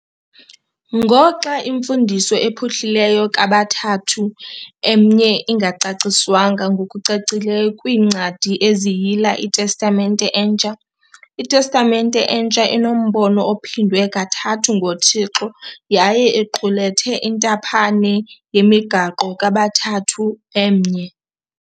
Ngoxa imfundiso ephuhlileyo kaBathathu Emnye ingacaciswanga ngokucacileyo kwiincwadi eziyila iTestamente Entsha, iTestamente Entsha inombono ophindwe kathathu ngoThixo yaye iqulethe intaphane yemigaqo kaBathathu Emnye.